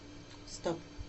стоп